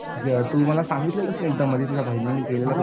तू मला सांगितलेलं ना एकदा मधी तुझ्या बहिणीने केलेले